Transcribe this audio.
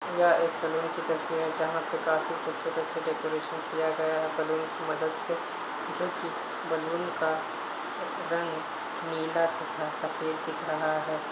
यह एक सैलून की तस्वीर है जहां काफी खूबसूरत से डेकोरेशन किया गया है बलून की मदद से जो कि बलून का र- रंग नीला तथा सफे़द दिख रहा है।